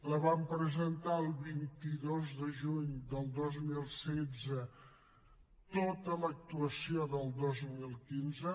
la vam presentar el vint dos de juny del dos mil setze tota l’actuació del dos mil quinze